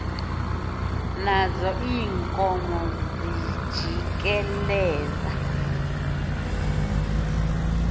nazo iinkomo zijikeleza